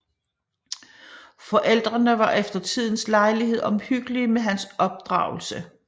Forældrene var efter tidens lejlighed omhyggelige med hans opdragelse